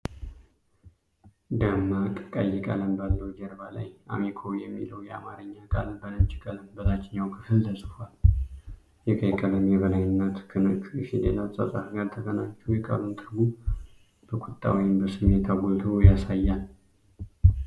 ደማቅ ቀይ ቀለም ባለው ጀርባ ላይ 'አሚኮ' የሚለው የአማርኛ ቃል በነጭ ቀለም በታችኛው ክፍል ተጽፏል። የቀይ ቀለም የበላይነት ከነጩ የፊደል አጻጻፍ ጋር ተቀናጅቶ የቃሉን ትርጉም በቁጣ ወይም በስሜት አጉልቶ ያሳያል።